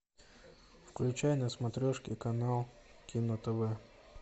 включай на смотрешке канал кино тв